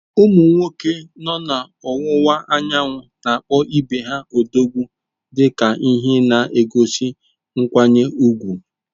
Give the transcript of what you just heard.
Ụmụ nwoke nọ n’Ọwụwa Anyanwụ na-akpọ ibe ha “Odogwu” dị ka ihe na-egosi nkwanye ùgwù.